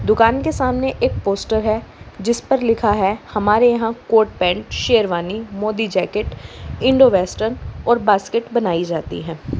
दुकान के सामने एक पोस्टर है जिस पर लिखा है हमारे यहां coat pant sherwani Modi jacket Indo western और बास्केट बनाई जाती है।